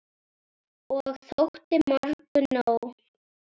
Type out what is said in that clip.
Og þótti mörgum nóg.